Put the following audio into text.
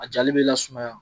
A jali bɛ lasumaya